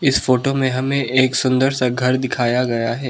इस फोटो में हमें एक सुंदर सा घर दिखाया गया है।